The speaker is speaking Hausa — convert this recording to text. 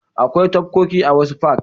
Akwai tafkoki a wasu fak.